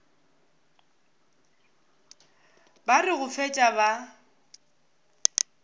ba re go fetša ba